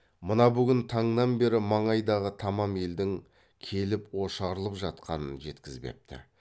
мына бүгін таңнан бері маңайдағы тамам елдің келіп ошарылып жатқанын жеткізбепті